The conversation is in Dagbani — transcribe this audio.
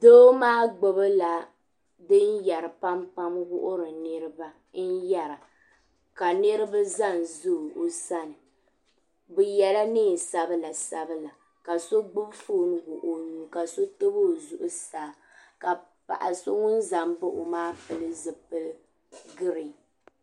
Doo maa gbibila dinyeri pampam wuhiri niriba n yera ka niriba zanza o sani bɛ yela niɛn'sabila sabila ka so gbibi fooni wuɣi o nuuni ka so tabi o zuɣusaa ka paɣa so ŋun zambaɣi o maa pili zipili girin.